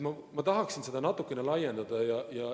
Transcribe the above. Ma tahaksin seda natukene laiendada.